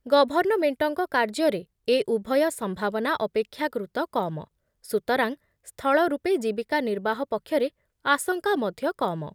ଗଭର୍ଣ୍ଣମେଣ୍ଟଙ୍କ କାର୍ଯ୍ୟରେ ଏ ଉଭୟ ସମ୍ଭାବନା ଅପେକ୍ଷାକୃତ କମ, ସୁତରାଂ ସ୍ଥଳ ରୂପେ ଜୀବିକା ନିର୍ବାହ ପକ୍ଷରେ ଆଶଙ୍କା ମଧ୍ୟ କମ ।